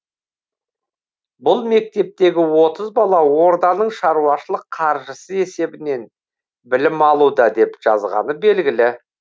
бұл мектептегі отыз бала орданың шаруашылық қаржысы есебінен білім алуда деп жазғаны белгілі